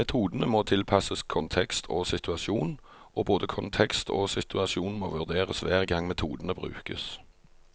Metodene må tilpasses kontekst og situasjon, og både kontekst og situasjon må vurderes hver gang metodene brukes.